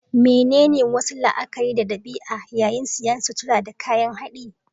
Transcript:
Menene wasu la'akari da ɗabi'a yayin siyan sutura da kayan haɗi?